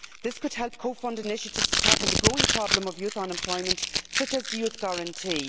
This could help co fund initiatives to tackle the growing problem of youth unemployment, such as the Youth Guarantee.